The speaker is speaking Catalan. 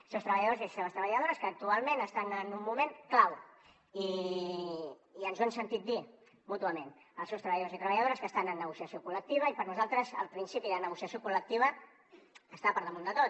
els seus treballadors i les seves treballadores que actualment estan en un moment clau i ens ho hem sentit dir mútuament els seus treballadors i treballadores que estan en negociació col·lectiva i per nosaltres el principi de negociació col·lectiva està per damunt de tot